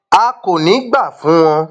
a kò ní í gbà fún wọn um